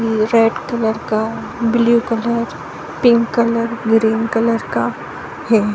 ये red colour काब्लु colour pink colour green colour का है।